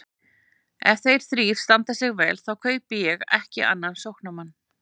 Ef þeir þrír standa sig vel þá kaupi ég ekki annan sóknarmann.